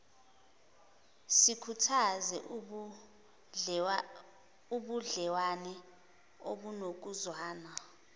sikhuthaze ubudlewane obunokuzwana